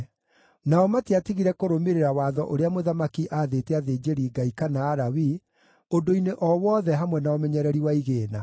Nao matiatigire kũrũmĩrĩra watho ũrĩa mũthamaki aathĩte athĩnjĩri-Ngai kana Alawii ũndũ-inĩ o wothe hamwe na ũmenyereri wa igĩĩna.